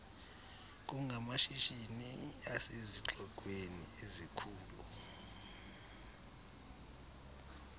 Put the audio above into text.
kungamashishini asezixekweni ezikhulu